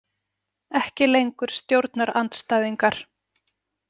Ekki lengur stjórnarandstæðingar.